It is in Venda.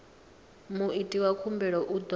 muiti wa khumbelo u ḓo